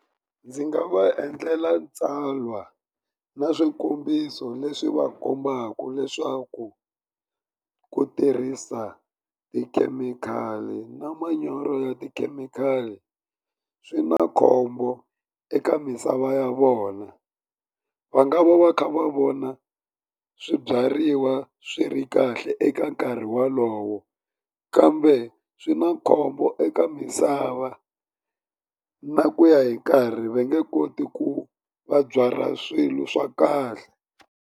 Ndzi nga va endlela tsalwa na swikombiso leswi va kombaka leswaku ku tirhisa tikhemikhali na manyoro ya tikhemikhali swi na khombo eka misava ya vona va nga va va kha va vona swibyariwa swi ri kahle eka nkarhi wolowo kambe swi na khombo eka misava na ku ya hi nkarhi va nge koti ku va byala swilo swa kahle.